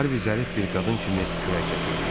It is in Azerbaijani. Harvi zərif bir qadın kimi kürək çəkirdi.